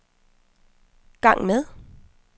gang med